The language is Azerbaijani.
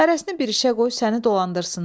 Hərəsini bir işə qoy, səni dolandırsınlar.